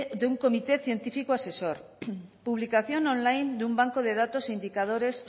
de un comité científico asesor publicación on line de un banco de datos indicadores